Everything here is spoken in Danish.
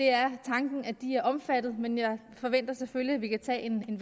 er tanken at de er omfattet men jeg forventer selvfølgelig at vi kan tage en